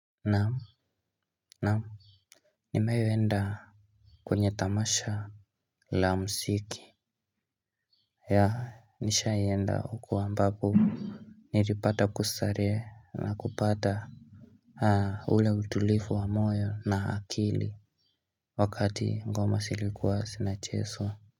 Naam naam. Nimewahi enda kwenye tamasha la muziki. Ya nishaenda huko ambapo nilipata kustarehe na kupata ule utulivu wa moyo na akili wakati ngoma zilikuwa zinachezwa.